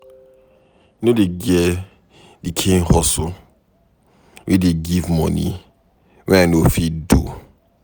E no get di kain hustle wey dey give moni wey I no fit do.